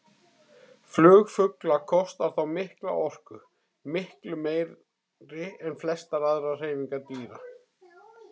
Flug fugla kostar þá mikla orku, miklu meiri en flestar aðrar hreyfingar dýra.